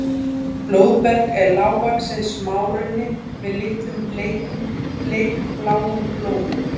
blóðberg er lágvaxinn smárunni með litlum bleikbláum blómum